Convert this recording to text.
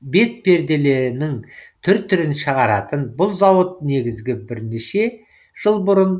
бетперденің түр түрін шығаратын бұл зауыт негізі бірнеше жыл бұрын